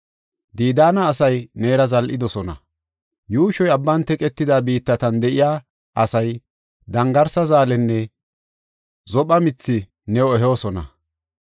Didaana asay neera zal7idosona; yuushoy abban teqetida biittatan de7iya asay dangarsa zaalenne zophe mithi new ehoosona.